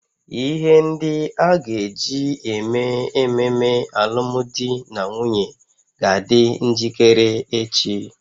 Ihe ndị a ga-eji eme ememe alụmdi na nwunye ga-adị njikere echi